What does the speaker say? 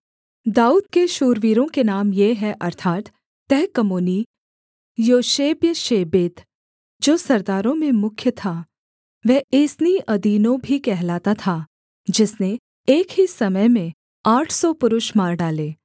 दाऊद के शूरवीरों के नाम ये हैं अर्थात् तहकमोनी योशेब्यश्शेबेत जो सरदारों में मुख्य था वह एस्‍नी अदीनो भी कहलाता था जिसने एक ही समय में आठ सौ पुरुष मार डाले